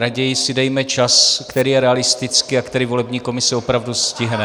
Raději si dejme čas, který je realistický a který volební komise opravdu stihne.